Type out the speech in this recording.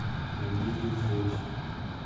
мобильная связь